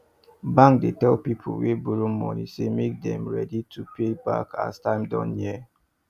bank dey tell people wey borrow money say make dem ready to pay back as time don near